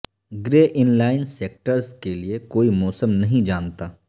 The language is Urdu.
گرے ان لائن سکٹرز کے لئے کوئی موسم نہیں جانتا